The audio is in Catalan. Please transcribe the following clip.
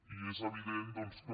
i és evident doncs que